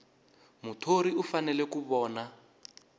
muthori u fanele ku vona